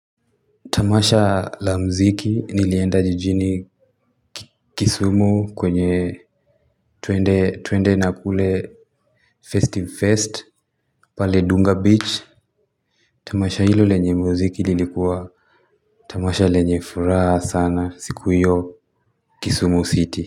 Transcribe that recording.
Tamasha la mziki nilienda jijini kisumu kwenye tuende na kule festive fest pale dunga beach. Tamasha hilo lenye mziki lilikuwa. Tamasha lenye furaha sana siku iyo kisumu city.